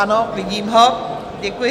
Ano, vidím ho, děkuji.